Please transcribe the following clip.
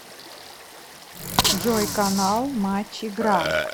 джой канал матч игра